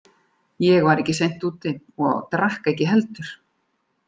Ég var ekki seint úti og drakk ekki heldur.